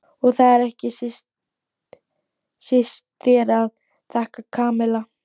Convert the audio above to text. Og það er ekki síst þér að þakka, Kamilla.